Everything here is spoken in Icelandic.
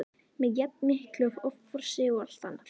með jafn miklu offorsi og allt annað.